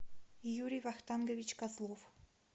юрий вахтангович козлов